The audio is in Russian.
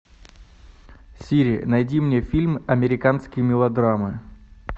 сири найди мне фильм американские мелодрамы